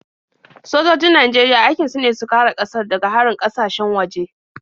Sojojin Najeriya aikin su ne su kare ƙasar daga harin ƙasashen waje.